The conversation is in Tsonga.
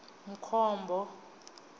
mkhombo